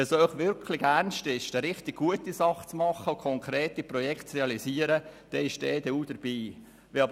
Wenn es Ihnen wirklich ernst ist, eine richtig gute Sache zu machen und konkrete Projekte zu realisieren, dann ist die EDU dabei.